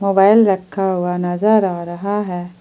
रखा हुआ नजर आ रहा है।